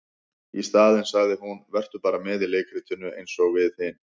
Í staðinn sagði hún:- Vertu bara með í leikritinu eins og við hin.